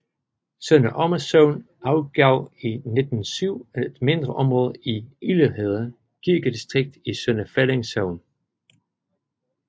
Sønder Omme Sogn afgav i 1907 et mindre område til Ilderhede Kirkedistrikt i Sønder Felding Sogn